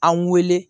An wele